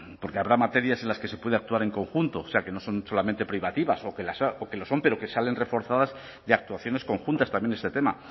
porque habrá materias en las que se puede actuar en conjunto o sea que no son solamente privativas o que lo son pero que salen reforzadas de actuaciones conjuntas también en este tema